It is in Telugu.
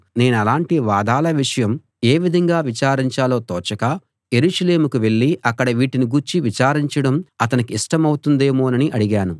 నేనలాటి వాదాల విషయం ఏ విధంగా విచారించాలో తోచక యెరూషలేముకు వెళ్ళి అక్కడ వీటిని గూర్చి విచారించడం అతనికి ఇష్టమవుతుందేమోనని అడిగాను